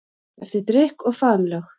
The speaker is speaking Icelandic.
Eftir drykk og faðmlög.